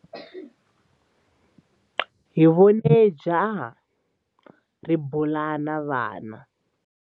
Hi vone jaha ri bula na vana.